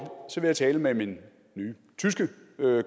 vil jeg tale med min nye tyske